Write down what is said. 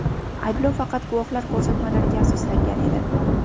Ayblov faqat guvohlar ko‘rsatmalariga asoslangan edi.